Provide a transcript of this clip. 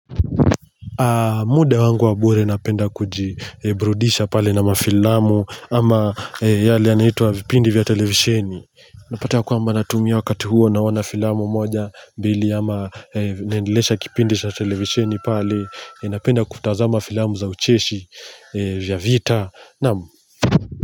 Muda wangu wabure napenda kujiburudisha pale na mafilamu ama yale anaitwa vipindi vya televisheni Napata kwa mba natumia wakati huo naoana filamu moja mbili ama niendileshe kipindi na televisheni pale napenda kutazama filamu za ucheshi vya vita naam.